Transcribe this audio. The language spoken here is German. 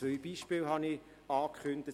Ich habe zwei Beispiele angekündigt.